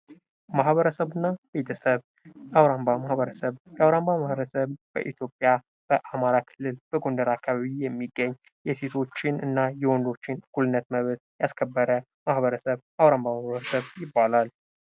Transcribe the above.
ማህበረሰብና ቤተሰብ የአውራምባ ማህበረሰብ፦ የአውራምባ ማህበረሰብ በኢትዮጵያ በአማራ ክልል በጎንደር አካባቢ የሚገኝ ፤ የሴቶችንና የወንዶችን መብት እና እኩልነት ያስከበረ የአውራምባ ማህበረሰብ ይባላል።